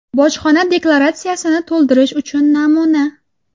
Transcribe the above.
Bojxona deklaratsiyasini to‘ldirish uchun namuna.